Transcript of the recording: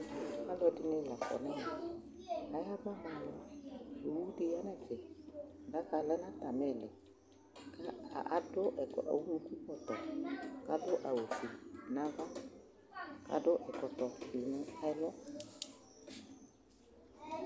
Alʋɛdɩnɩ la kɔ nʋ ɛmɛ Ayabama alʋ Owu dɩ ya nʋ ɛfɛ Daka lɛ nʋ atamɩ ɩɩlɩ kʋ adʋ ɛkɔ ɔlʋkukɔtɔ kʋ adʋ awʋfue nʋ ava kʋ adʋ ɛkɔtɔfɩ nʋ ɛlʋ